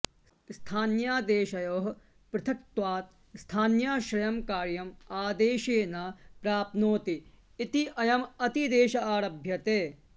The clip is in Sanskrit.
स्थान्यादेशयोः पृथक्त्वात् स्थान्याश्रयं कार्यम् आदेशे न प्राप्नोति इत्ययमतिदेश आरभ्यते